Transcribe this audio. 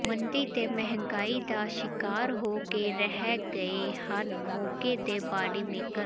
ਮੰਦੀ ਤੇ ਮਹਿੰਗਾਈ ਦਾ ਸ਼ਿਕਾਰ ਹੋ ਕੇ ਰਹਿ ਗਏ ਹਨ ਮੋਗੇ ਦੇ ਬਾਡੀ ਮੇਕਰ